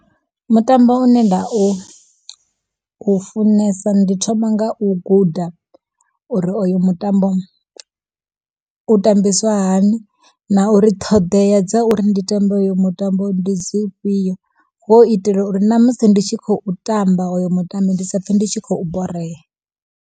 Mutambo une nda u funesa ndi thoma nga u guda, uri oyo mutambo u tambiswa hani. Na uri ṱhoḓea dza uri ndi tambe hoyo mutambo ndi dzifhio, ho u itela uri namusi ndi tshi khou tamba oyo mutambi ndi sa pfhe ndi tshi khou borea.